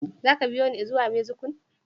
Zaka biyune i zuwa Mexico?